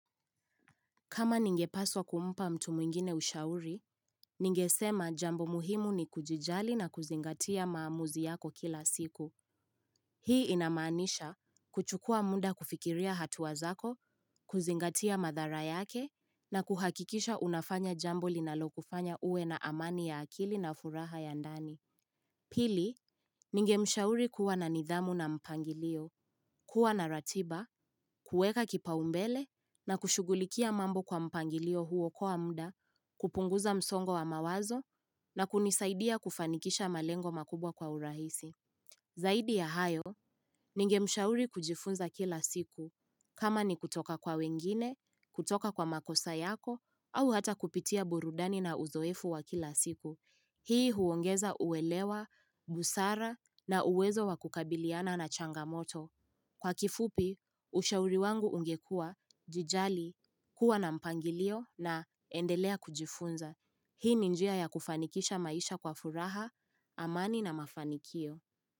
Kama ningepaswa kumpa mtu mwingine ushauri, ningesema jambo muhimu ni kujijali na kuzingatia maamuzi yako kila siku. Hii inamaanisha kuchukua muda kufikiria hatua zako, kuzingatia madhara yake na kuhakikisha unafanya jambo linalokufanya uwe na amani ya akili na furaha ya ndani. Pili, ningemshauri kuwa na nidhamu na mpangilio, kuwa na ratiba, kuweka kipaumbele na kushugulikia mambo kwa mpangilio huo kwa mda, kupunguza msongo wa mawazo na kunisaidia kufanikisha malengo makubwa kwa urahisi. Zaidi ya hayo, ningemshauri kujifunza kila siku. Kama ni kutoka kwa wengine, kutoka kwa makosa yako, au hata kupitia burudani na uzoefu wa kila siku. Hii huongeza uwelewa, busara na uwezo wa kukabiliana na changamoto. Kwa kifupi, ushauri wangu ungekua, jijali, kuwa na mpangilio na endelea kujifunza. Hii ni njia ya kufanikisha maisha kwa furaha, amani na mafanikio.